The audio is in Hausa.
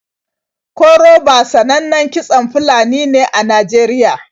Koroba sanannan kitson Fulani ne a Najeriya.